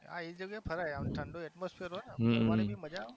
આ ઉમર છે ફરી લેવાની પછી